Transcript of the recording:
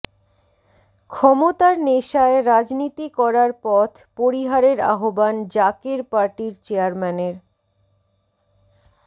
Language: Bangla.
ক্ষমতার নেশায় রাজনীতি করার পথ পরিহারের আহ্বান জাকের পার্টির চেয়ারম্যানের